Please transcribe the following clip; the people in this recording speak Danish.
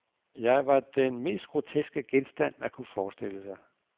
Jeg var den mest groteske genstand, man kunne forestille sig.